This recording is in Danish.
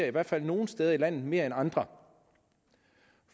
i hvert fald nogle steder i landet mere end andre